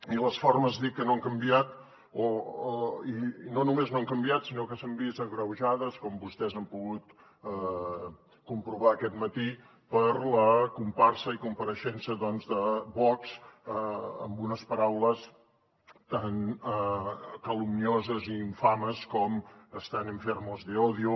i les formes dic que no han canviat i no només no han canviat sinó que s’han vist agreujades com vostès han pogut comprovar aquest matí per la comparsa i compareixença doncs de vox amb unes paraules tan calumnioses i infames com están enfermos de odio